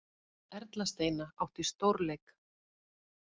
Erla Steina átti stórleik